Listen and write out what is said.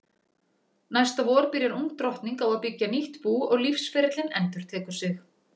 Næsta vor byrjar ung drottning á að byggja nýtt bú og lífsferillinn endurtekur sig.